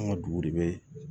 An ka dugu de bɛ